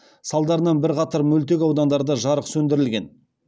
салдарынан бірқатар мөлтекаудандарда жарық сөндірілген